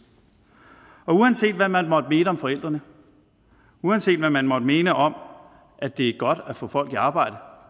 og uanset hvad man måtte mene om forældrene uanset hvad man måtte mene om at det er godt at få folk i arbejde